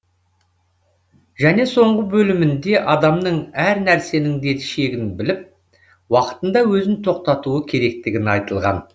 және соңғы бөлімінде адамның әр нәрсенің де шегін біліп уақытында өзін тоқтатуы керектігі айтылған